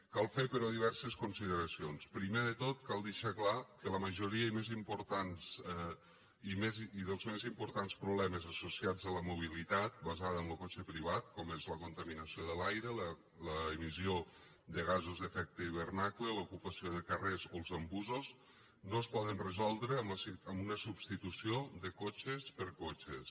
cal fer però diverses consideracions primer de tot cal deixar clar que la majoria i els més importants problemes associats a la mobilitat basada en lo cotxe privat com són la contaminació de l’aire l’emissió de gasos d’efecte d’hivernacle l’ocupació de carrers o los embussos no es poden resoldre amb una substitució de cotxes per cotxes